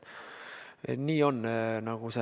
Nii on.